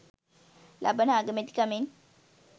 ලබන අගමැතිකමෙන්